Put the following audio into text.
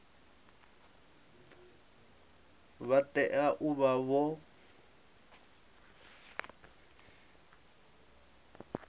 vha tea u vha vho